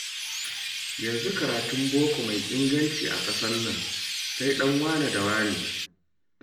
Yanzu karatun boko mai inganci a ƙasar nan, sai ɗan wane da wane